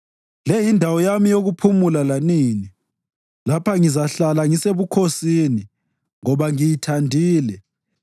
“Le yindawo yami yokuphumula lanini; lapha ngizahlala ngisebukhosini, ngoba ngiyithandile